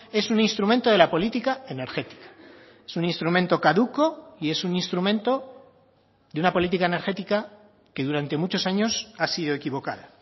es un instrumento de la política energética es un instrumento caduco y es un instrumento de una política energética que durante muchos años ha sido equivocada